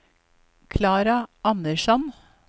Klara Andersson